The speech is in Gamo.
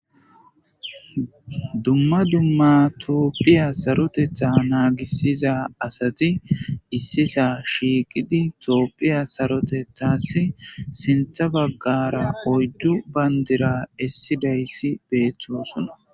Dumma dumma tooppiya sarotetha naagissiza asati issisa shiiqidi tooppiya sarotethas sintha baggara oydu bayndira essidayssi beettosona